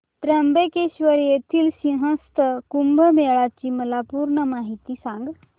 त्र्यंबकेश्वर येथील सिंहस्थ कुंभमेळा ची मला पूर्ण माहिती सांग